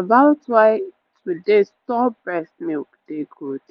about why to dey store breast milk dey good